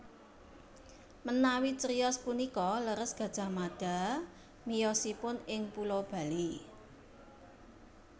Menawi criyos punika leres Gajah Mada miyosipun ing pulo Bali